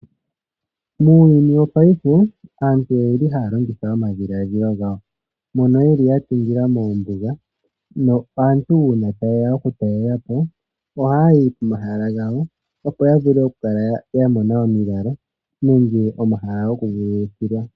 Muuyuni wopaife, aantu oye li haya longitha omadhiladhilo gawo mono yeli ya tungila moombiga nopo aantu uuna taye ya oku talela po, ohaya yi momahala gawo opo ya vule oku kala ya mona omilalo nenge omahala gokuvululukilwa.